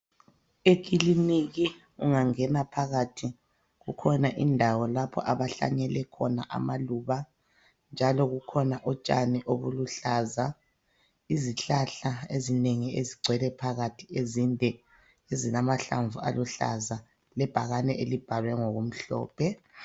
Ekiliniki ungangena phakathi kukhona indawo lapho abahlanyele khona amaluba njalo kukhona utshani obuluhlaza, izihlahla ezinengi ezigcwele phakathi ezinde zilamahlamvu aluhlaza lebhakani elibhalwe ngokumhlophe.